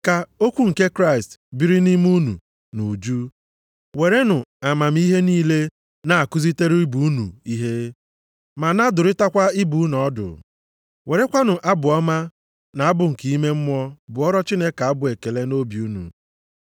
Ka okwu nke Kraịst biri nʼime unu nʼuju ya. Werenụ amamihe niile na-akụzirịta ibe unu ihe, ma na-adụrịtakwa ibe unu ọdụ. Werekwanụ abụ ọma na abụ nke ime mmụọ bụọrọ Chineke abụ ekele nʼobi unu.